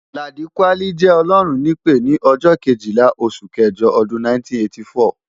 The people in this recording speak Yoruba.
Ladi kwali jẹ́ Ọlọ́run nípè ni ọjọ́ Kejìlá oṣù kẹjọ ọdún 1984.